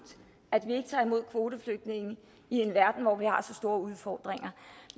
at vi ikke tager imod kvoteflygtninge i en verden hvor vi har så store udfordringer